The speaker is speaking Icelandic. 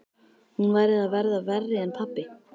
Hún væri að verða verri en pabbi.